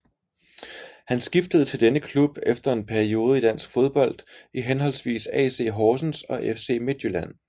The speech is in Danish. Han skiftede til denne klub efter en periode i dansk fodbold i henholdsvis AC Horsens og FC Midtjylland